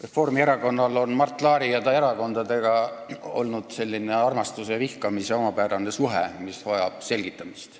Reformierakonnal on Mart Laari ja ta erakondadega olnud selline armastuse ja vihkamise omapärane suhe, mis vajab selgitamist.